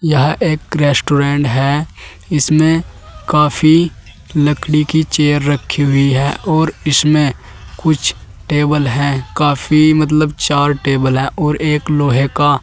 यह एक रेस्टोरेंट है इसमें काफी लकड़ी की चेयर रखी हुई है और इसमें कुछ टेबल है काफी मतलब चार टेबल हैं और एक लोहे का--